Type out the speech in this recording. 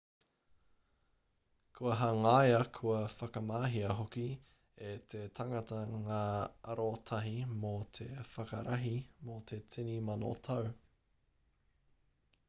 kua hangaia kua whakamahia hoki e te tangata ngā arotahi mō te whakarahi mō te tini mano tau